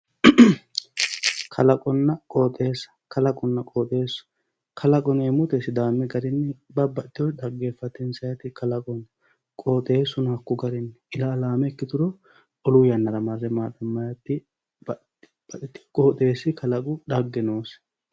kalaqonna qooxeesa kalaqonna qooxeesu kalaqo yineemoti sidaami garinni babbaxio xaggeefachishaate kalaqo qooxeesuno hakko garyii ilaalaame ikkituro olu yannara marre maaxamayiiwaati babbaxiyoo qoxeesi kalaqu xagge noosi